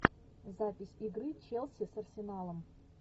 запись игры челси с арсеналом